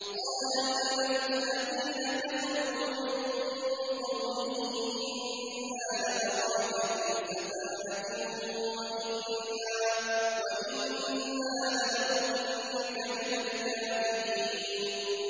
قَالَ الْمَلَأُ الَّذِينَ كَفَرُوا مِن قَوْمِهِ إِنَّا لَنَرَاكَ فِي سَفَاهَةٍ وَإِنَّا لَنَظُنُّكَ مِنَ الْكَاذِبِينَ